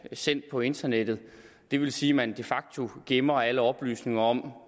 sendt på internettet det vil sige at man de facto gemmer alle oplysninger om